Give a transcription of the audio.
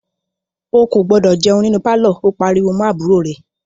O kò gbúdọ̀ jẹun nínú pálọ̀! ó pariwo mọ́ àbúrò rẹ̀.